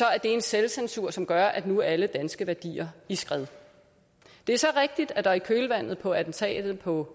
er en selvcensur som gør at nu er alle danske værdier i skred det er så rigtigt at der i kølvandet på attentatet på